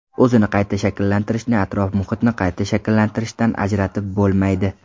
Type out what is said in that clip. O‘zini qayta shakllantirishni atrof-muhitni qayta shakllantirishdan ajratib bo‘lmaydi.